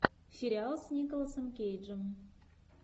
сериал с николасом кейджем